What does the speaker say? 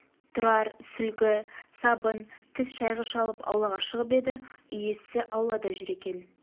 тұрар сүлгі сабын тіс шайғыш алып аулаға шығып еді үй иесі аулада жүр екен